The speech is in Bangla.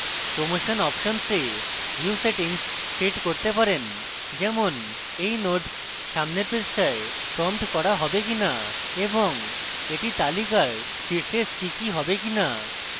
promotion options we আমরা view সেটিংস set করতে পারেন যেমনএই নোড সামনের পৃষ্ঠায় প্রম্পট করা হবে কিনা এবং এটি তালিকার শীর্ষে স্টিকি হবে কিনা